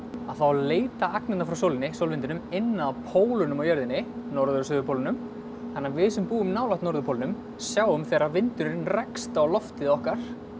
þá leita agnirnar frá sólvindinum inn að pólunum á jörðinni norður og suðurpólnum þannig að við sem búum nálægt norðurpólnum sjáum þegar vindurinn rekst á loftið okkar